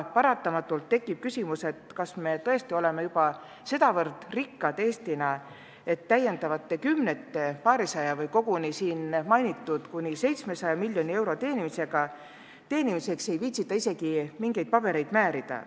Paratamatult tekib küsimus, kas me tõesti oleme juba nii rikkad, et paarisaja miljoni või koguni täna mainitud kuni 700 miljoni lisaeuro saamiseks ei viitsita isegi paberit määrida.